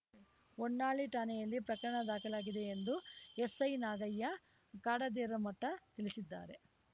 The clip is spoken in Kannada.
ಹೊನ್ನಾಳಿ ಠಾಣೆಯಲ್ಲಿ ಪ್ರಕರಣ ದಾಖಲಾಗಿದೆ ಎಂದು ಎಸ್‌ಐ ನಾಗಯ್ಯ ಕಾಡದೇರಮಠ ತಿಳಿಸಿದ್ದಾರೆ